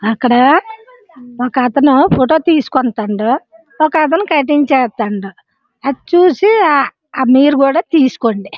అక్కడ ఒక అతను ఫోటో తీస్కున్నారు ఒక అతను కట్టింగ్ చేస్తున్నారు అది చూసి మీరు కూడా తీసుకోండి.